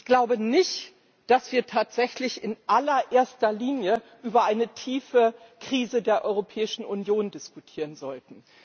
Ich glaube nicht, dass wir tatsächlich in allererster Linie über eine tiefe Krise der Europäischen Union diskutieren sollten.